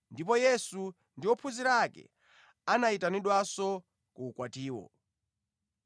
ndipo Yesu ndi ophunzira ake anayitanidwanso ku ukwatiwo.